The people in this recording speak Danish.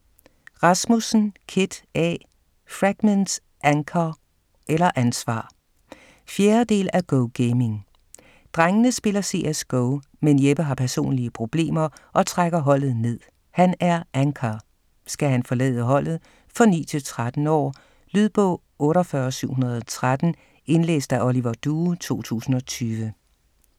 Rasmussen, Kit A.: Fragments - anchor eller ansvar 4. del af Go Gaming. Drengene spiller CS-GO, men Jeppe har personlige problemer og trækker holdet ned - han er "anchor". Skal han forlade holdet? For 9-13 år. Lydbog 48713 Indlæst af Oliver Due, 2020.